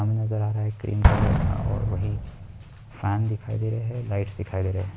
पानी नजर आ रहा है क्रीम कलर का और वही फैन दिखाई दे रहे है लाइट्स दिखाई दे रहे है।